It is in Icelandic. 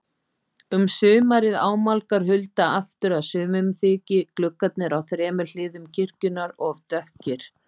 Um sumarið ámálgar Hulda aftur að sumum þyki gluggarnir á þremur hliðum kirkjunnar of dökkir.